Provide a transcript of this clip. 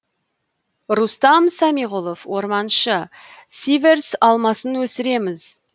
рустам самиғұлов орманшы сиверс алмасын өсіреміз